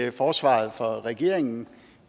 i forsvaret for regeringen